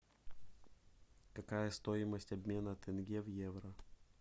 какая стоимость обмена тенге в евро